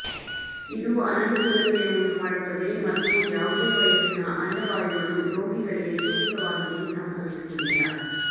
ಇದು ಅನನುಕೂಲತೆಯನ್ನು ಉಂಟುಮಾಡುತ್ತದೆ ಮತ್ತು ಯಾವುದೇ ವಯಸ್ಸಿನ ಅಂಡವಾಯುಗಳು ರೋಗಿಗಳಿಗೆ ಸೂಕ್ತವಾಗಿದೆ ಸಂಭವಿಸುವುದಿಲ್ಲ